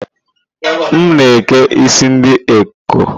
M na eke isi ndị ekọ́